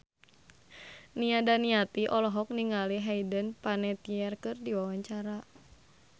Nia Daniati olohok ningali Hayden Panettiere keur diwawancara